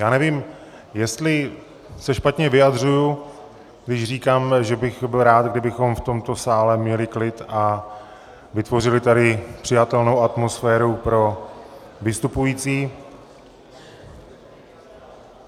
Já nevím, jestli se špatně vyjadřuji, když říkám, že bych byl rád, kdybychom v tomto sále měli klid a vytvořili tady přijatelnou atmosféru pro vystupující.